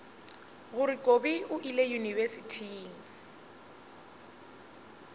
gore kobi o ile yunibesithing